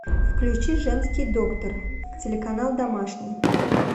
включи женский доктор телеканал домашний